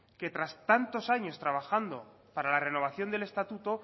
que tras tantos años trabajando para la renovación del estatuto